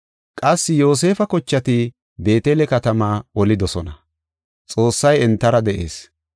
Qassi Yoosefa kochati Beetele katamaa olidosona; Xoossay entara de7ees.